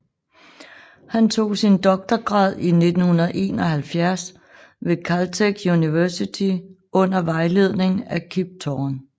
Han tog sin doktorgrad i 1971 ved Caltech University under vejledning af Kip Thorne